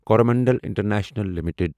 Coromandel international limited